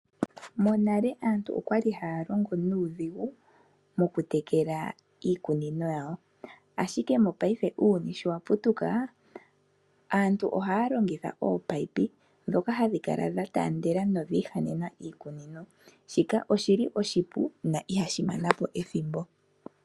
Monale aantu okwali haya longo nuudhigu moku tekela iikunino yawo ashike mopaife uuyuni sho waputuka aantu ohaya longitha oopaipi dhoka hadhi kala dha tandela nodhi ihanena iikunino, shika oshili oshipu no ihashi manapo ethimbo.